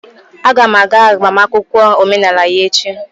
Aga m aga agbamakwụkwọ omenala ya echi.